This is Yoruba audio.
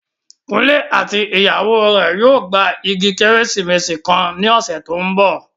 Kunle àti ìyàwó rẹ̀ yóò gba igi Kérésìmesì kan ní ọ̀sẹ̀ tó ń bọ̀